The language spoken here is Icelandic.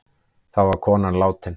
Þá var konan látin.